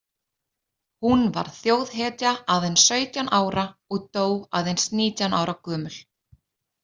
Hún varð þjóðhetja aðeins sautján ára og dó aðeins nítján ára gömul.